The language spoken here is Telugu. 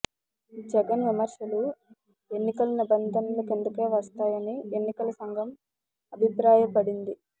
జగన్ విమర్శలు ఎన్నికల నిబంధనల కిందకే వస్తాయని ఎన్నికల సంఘం అభిప్రాయపడింది